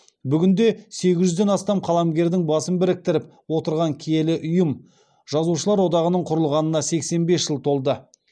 бүгінде сегіз жүзден астам қаламгердің басын біріктіріп отырған киелі ұйым жазушылар одағының құрылғанына сексен бес жыл толды